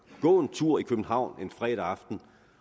gå en tur i københavn en fredag aften